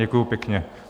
Děkuju pěkně.